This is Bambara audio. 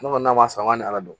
Ne kɔni n'a ma sɔn an ma ala dɔn